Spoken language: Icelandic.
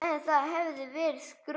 En það hefði verið skrök.